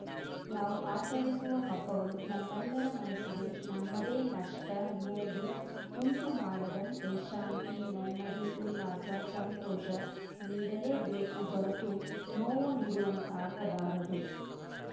ನಾವು ಆಚರಿಸುವ ಹಬ್ಬಗಳು ನಮ್ಮೆಲ್ಲರ ಮನಸ್ಸಿಗೆ ನಮ್ಮದೇ ನಷ್ಟ ನೋವು ಉಂಟುಮಾಡದಂತೆ ಶಾಂತಿ ನೆಮ್ಮದಿ ಉಲ್ಲಾಸ ಸಂತೋಷ ನೀಡಲೇಬೇಕು ಹೊರತು ನೋವು ನೀಡುವಂತಾಗ ಬಾರದು